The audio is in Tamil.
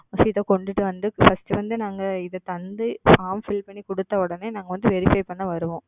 First இத கொண்டுட்டுவந்து First வந்து நாங்க இத தந்து Form Fill பண்ணி குடுத்த உடனே நாங்க வந்து Verify பண்ண வருவோம்.